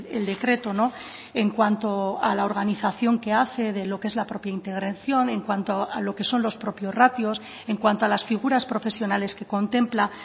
el decreto en cuanto a la organización que hace de lo que es la propia integración en cuanto a lo que son los propios ratios en cuanto a las figuras profesionales que contempla